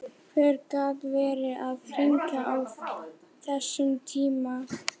Hver gat verið að hringja á þessum tíma?